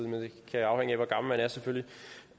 vil